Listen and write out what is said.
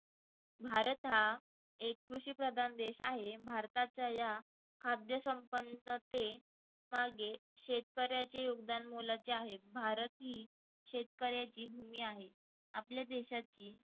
भारत हा एक कृषिप्रधान देश आहे. भारतातल्या या खाद्य संपत्तीचे मागे शेतकऱ्याचे योगदान मोलाचे आहे. भारत ही शेतकऱ्याची भूमी आहे. आपल्या देशातली